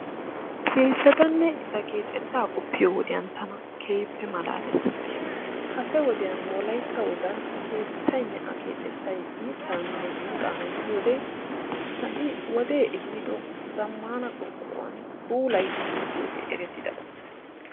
keettatanne eta keexetaa qopiyo n wode tana keehi maalaalees. kase wodiyan wolaytta wogan keetaynne a keexetay, mitaane irxaana gidiyode ha'i wodee ehiido zamaanaban puulayidi keexxiyoge eretidaba.